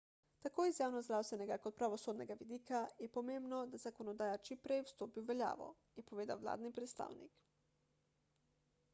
tako iz javnozdravstvenega kot pravosodnega vidika je pomembno da zakonodaja čimprej stopi v veljavo je povedal vladni predstavnik